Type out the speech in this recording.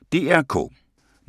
DR K